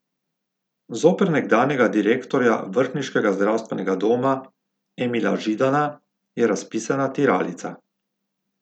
Zoper nekdanjega direktorja vrhniškega zdravstvenega doma Emila Židana je razpisana tiralica.